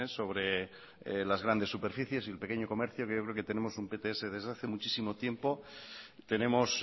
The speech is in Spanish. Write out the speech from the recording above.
sobre las grandes superficies y el pequeño comercio yo creo que tenemos un pts desde hace muchísimo tiempo tenemos